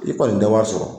I kɔni tɛ wari sɔrɔ